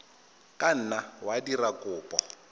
ka nna wa dira kopo